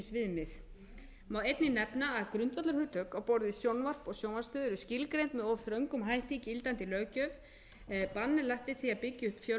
viðmið má einnig nefna að grundvallarhugtök á borð við sjónvarp og sjónvarpsstöð eru skilgreind með of þröngum hætti í gildandi löggjöf bann lagt við því að byggja upp fjölrásasjónvarp á